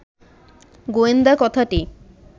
গোয়েন্দা কথাটি